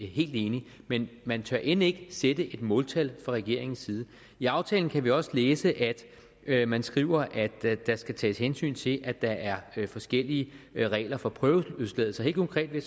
helt enig i men man tør end ikke sætte et måltal fra regeringens side i aftalen kan vi også læse at man skriver at der skal tages hensyn til at der er forskellige regler for prøveløsladelse helt konkret vil